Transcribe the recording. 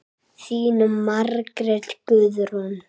Þín Margrét Guðrún.